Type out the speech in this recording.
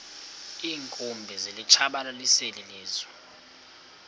iinkumbi zilitshabalalisile ilizwe